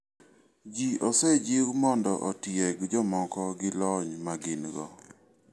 Ji osejiw mondo otieg jomoko gi lony ma gin go.